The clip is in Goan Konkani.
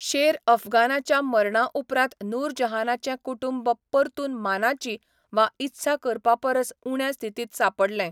शेर अफगानाच्या मरणा उपरांत नूरजहानाचें कुटुंब परतून मानाची वा इत्सा करपा परस उण्या स्थितींत सांपडलें.